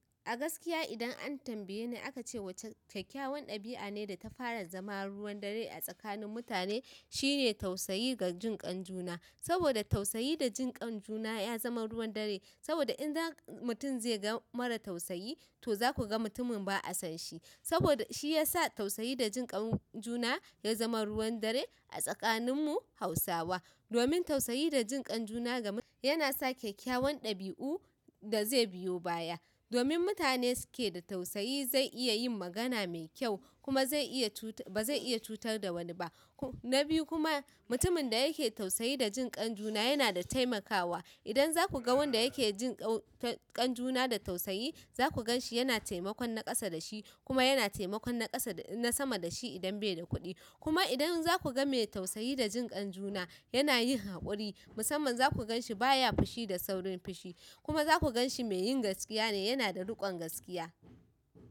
A gaskiya idan an tambaye ni aka ce wace kyakkyawan ɗabi'a ne da ta fara zama ruwan dare a tsakanin mutane, shine tausayi ga jin kan juna. Saboda tausayi da jin kan juna ya zama ruwan dare. Saboda idan mutum zai ga mara tausayi to za ku ga mutumin ba a son shi. Saboda shi ya sa tausayi da jin kan juna ya zama ruwan dare a tsakaninmu Hausawa. Domin tausayi da jin kan juna ga, yana sa kyakkewan ɗabi'u da zai biyo baya. Domin mutane suke da tausayi zai iya yin magana mai kyau kuma zai iya tu-- ba zai iya cutar da wani ba. Na biyu kuma mutumin da yake tausayi da jin kan juna yana da taimakawa. Idan za ku ga wanda yake jin kan juna da tausayi, za ku gan shi yana taimakon naƙasa da shi kuma yana taimakon naƙasa, na sama da shi idan bai da kuɗi. Kuma idan za ku ga mai tausayi da jin kan juna yana yin haƙuri, musamman za ku gan shi baya fushi da saurin fushi. Kuma za ku gan shi mai yin gaskiya ne, yana da riƙon gaskiya.